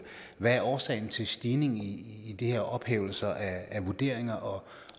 der er årsagen til stigningen i de her ophævelser af vurderinger